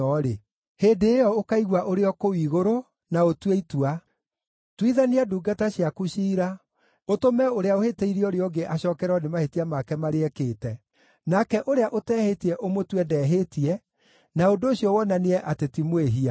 hĩndĩ ĩyo ũkaigua ũrĩ o kũu igũrũ, na ũtue itua. Tuithania ndungata ciaku ciira, ũtũme ũrĩa ũhĩtĩirie ũrĩa ũngĩ acookererwo nĩ mahĩtia make marĩa ekĩte. Nake ũrĩa ũtehĩtie ũmũtue ndehĩtie na ũndũ ũcio wonanie atĩ ti mwĩhia.